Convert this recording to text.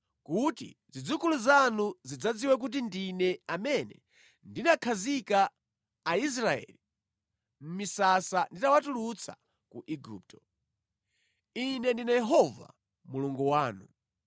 kuti zidzukulu zanu zidzadziwe kuti ndine amene ndinakhazika Aisraeli mʼmisasa nditawatulutsa ku Igupto. Ine ndine Yehova Mulungu wanu.’ ”